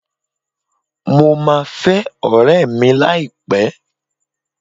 Mo máa fẹ́ ọ̀rẹ́ẹ̀ mi láìpẹ́.